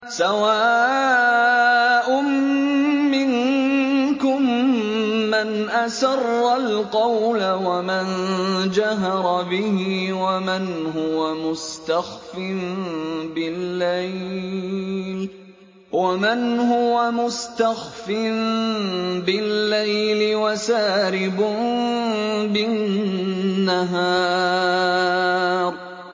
سَوَاءٌ مِّنكُم مَّنْ أَسَرَّ الْقَوْلَ وَمَن جَهَرَ بِهِ وَمَنْ هُوَ مُسْتَخْفٍ بِاللَّيْلِ وَسَارِبٌ بِالنَّهَارِ